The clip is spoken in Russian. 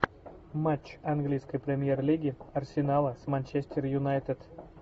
матч английской премьер лиги арсенала с манчестер юнайтед